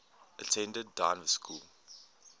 attended dynevor school